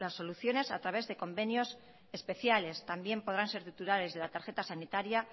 soluciones a través de convenios especiales también podrán ser titulares de la tarjeta sanitaria